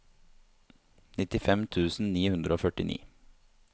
nittifem tusen ni hundre og førtini